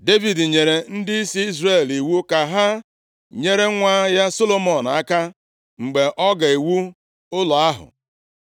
Devid nyere ndịisi Izrel iwu ka ha nyere nwa ya Solomọn aka, mgbe ọ ga-ewu ụlọ ahụ.